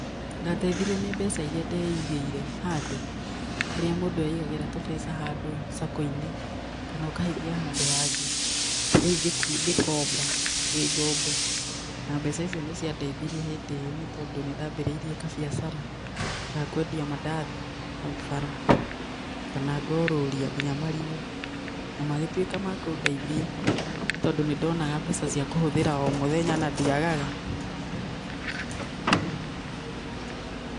Ndateithirio nĩ mbeca iria ndeigĩire handũ, ũrĩa mũndũ aigagĩra tũbeca handũ Sacco inĩ kana ũkahithia handũ hangĩ ,rĩũ ngĩkomba ĩ ngombo na mbeca icio nĩ ciandeithirie hĩnddĩ ĩyo nĩ, tondũ nĩndabĩrĩirie kabiacara ya kwendia madathi haũ bara kana ngorũria nginya marigũ, na magĩtuĩka makũndeithia nĩtondũ nĩndoga mbeca cia kũhũthĩra omũthenya na ndĩagaga .